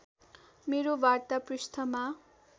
मेरा वार्ता पृष्ठमा